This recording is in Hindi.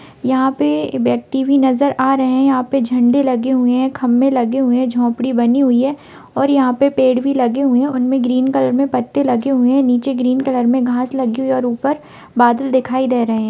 यहाँ पे इ व्यक्ति भी नजर आ रहे हैं| यहाँ पे झंडे लगे हुए हैं खंबे लगे हुए हैं झोपड़ी बनी हुई है और यहाँ पे पेड़ भी लगे हुए हैं| उनमें ग्रीन कलर में पत्ते लगे हुए हैं नीचे ग्रीन कलर में घास लगी है और ऊपर बादल दिखाई दे रहे हैं।